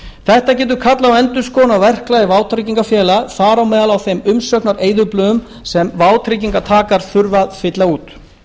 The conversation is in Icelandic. þetta getur kallað á endurskoðun á verklagi vátryggingafélaga þar á meðal á þeim umsóknareyðublöðum sem vátryggingartakar þurfa að fylla út